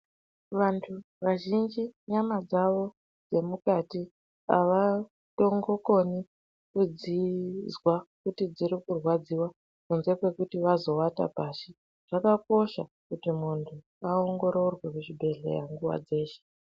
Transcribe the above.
Vantu vazhinji nyama dzavo dzemukati avatongokoni kudzizwa kuti dziri kurwadziwa kunze kwekuti vazowata pashi. Zvakakosha kuti muntu aongororwe kuzvibhehleya nguwa dzeshe.